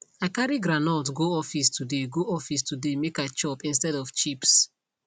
i carry groundnut go office today go office today make i chop instead of chips